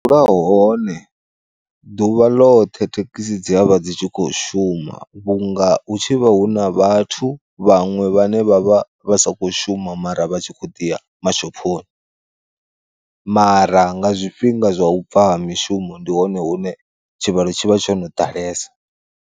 Hone ḓuvha ḽoṱhe thekhisi dziavha dzi tshi kho shuma vhunga hu tshi vha hu na vhathu vhaṅwe vhane vha vha vha sakho shuma mara vha tshi khou ḓi ya mashophoni, mara nga zwifhinga zwa u bva ha mishumo ndi hone hune tshivhalo tshi vha tsho no ḓalesa.